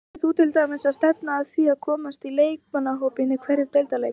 Ætlar þú til dæmis að stefna að því að komast í leikmannahópinn í einhverjum deildarleik?